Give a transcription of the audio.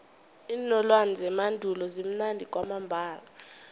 iinolwana zemandulo zimnandi kwamambala